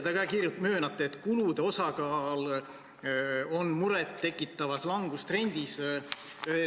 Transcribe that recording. Te ise ka möönate, et kulude osakaal on murettekitavas langustrendis.